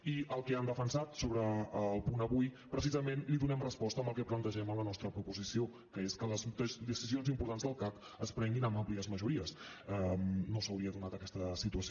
i al que han defensat sobre el punt avui precisament li donem resposta amb el que plantegem a la nostra proposició que és que les decisions importants del cac es prenguin amb àmplies majories no s’hauria donat aquesta situació